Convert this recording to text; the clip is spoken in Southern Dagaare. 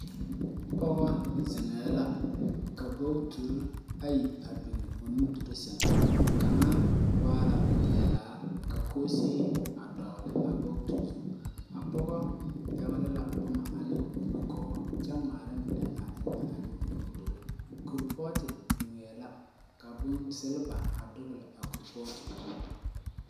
Pogɔ zeŋɛɛ la ka bogturre ayi a biŋ o nudurre sɛŋ kaŋa waala peɛlaa ka koosee a dogle a bogeti zuŋ a pogɔ pɛgle la bommaa ane o nugɔɔ kyɛ ngmaara mine a eŋnɛ a ne o nudure kuripɔɔte biŋee la ka silba a dogle a kuripɔɔte zu.